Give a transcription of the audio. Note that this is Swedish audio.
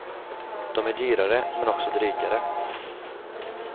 De är dyrare, men också drygare.